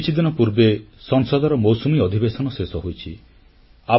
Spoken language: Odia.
କିଛିଦିନ ପୂର୍ବେ ସଂସଦର ମୌସୁମୀ ଅଧିବେଶନ ଶେଷ ହୋଇଛି